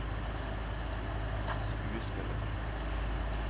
skuespilleren